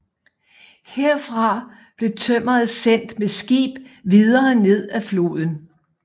Herfra blev tømmeret sendt med skib videre ned ad floden